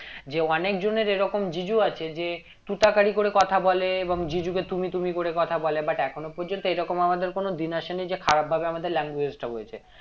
যে অনেক জনের এরকম জিজু আছে যে তুই তাকারী করে কথা বলে এবং জিজু কে তুমি তুমি করে কথা বলে but এখনো পর্যন্ত এই রকম আমাদের কোনো দিন আসে নি যে খারাপ ভাবে আমাদের language টা হয়েছে